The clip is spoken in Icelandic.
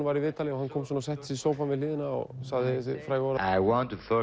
var í viðtali og hann settist í sófann við hliðina og sagði þessi frægu orð og